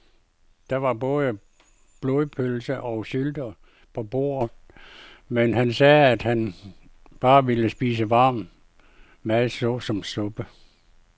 Der var både blodpølse og sylte på bordet, men han sagde, at han bare ville spise varm mad såsom suppe.